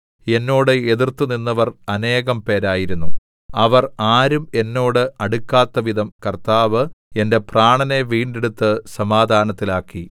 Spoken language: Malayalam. എന്നോട് എതിർത്തു നിന്നവർ അനേകം പേരായിരുന്നു അവർ ആരും എന്നോട് അടുക്കാത്തവിധം കർത്താവ് എന്റെ പ്രാണനെ വീണ്ടെടുത്ത് സമാധാനത്തിലാക്കി